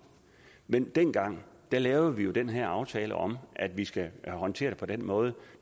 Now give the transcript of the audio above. men dengang lavede vi jo den her aftale om at vi skal håndtere det på den måde